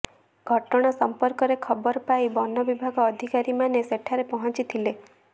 ଘଟଣା ସଂପର୍କରେ ଖବର ପାଇ ବନ ବିଭାଗ ଅଧିକାରୀମାନେ ସେଠାରେ ପହଂଚିଥିଲେ